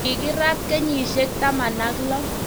kikirat kenyisiek taman ak lo